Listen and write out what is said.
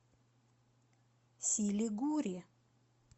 силигури